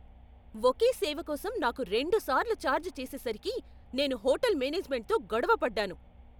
ఒకే సేవకోసం నాకు రెండు సార్లు ఛార్జ్ చేసేసరికి నేను హోటల్ మేనేజ్మెంట్తో గొడవ పడ్డాను.